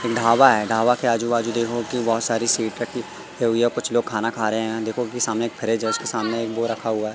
ढाबा है ढाबा के आजू बाजू देखो की बहोत सारी सीट कुछ लोग खाना खा रहे हैं देखो कि सामने एक फ्रिज उसके सामने एक वो रखा हुआ--